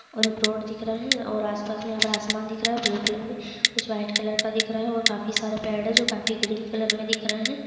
और एक रोड दिख रहा है और आसपास मे आसमान दिख रहा है ब्लू कलर मे कुछ वाइट कलर का दिख रहा है और काफी सारे पेड़ है जो काफी ग्रीन कलर मे दिख रहे हैं ।